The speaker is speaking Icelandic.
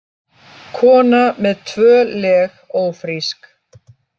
Kona með tvö leg ófrísk